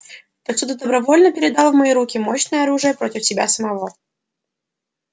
так что ты добровольно передал в мои руки мощное оружие против себя самого